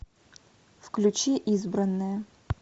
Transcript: включи избранная